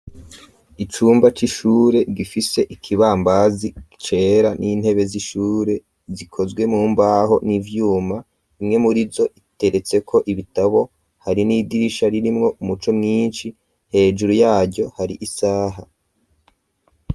Icumba c'ishure gifise ikibambazi cera n'intebe z'ishure gikozwe mumbaho n'ivyuma rimwe murizo iteretseko ibitabo hari n'idirisha ririmwo umuco mwinshi hejuru yaryo hari isaha.